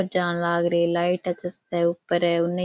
जान लाग रो लाइट चस ऊपर है उनने --